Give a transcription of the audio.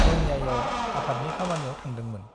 रङियायाव आफादनि खामानियाव थांदोंमोन ।